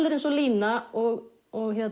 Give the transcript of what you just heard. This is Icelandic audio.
er eins og Lína og og